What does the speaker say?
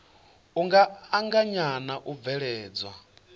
u anganya na u bveledzwa